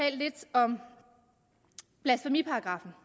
om blasfemiparagraffen